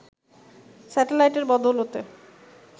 স্যাটেলাইটের বদৌলতে